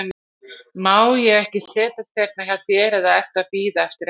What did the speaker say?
Má ég ekki setjast hérna hjá þér, eða ertu að bíða eftir einhverjum?